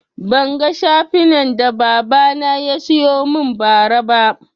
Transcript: Ban ga shafinan da baba na yasiyo mun ba ra ba